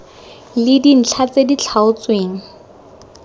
le dintlha tse di tlhaotsweng